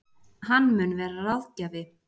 Hann mun vera ráðgjafi